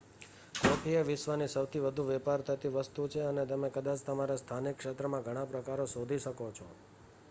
coffee એ વિશ્વની સૌથી વધુ વેપાર થતી વસ્તુ છે અને તમે કદાચ તમારા સ્થાનિક ક્ષેત્રમાં ઘણા પ્રકારો શોધી શકો છો